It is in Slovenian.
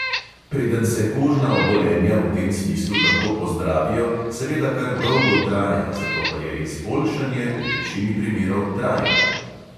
Preden se kožna obolenja v tem smislu lahko pozdravijo, seveda kar dolgo traja, zato pa je izboljšanje v večini primerov trajno.